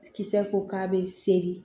Kisɛ ko k'a bɛ sere